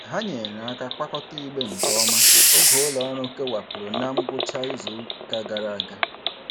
Ha nyeere aka kwakọta igbe nke ọma oge ụlọọrụ kewapụrụ na ngwụcha izuụka gara aga.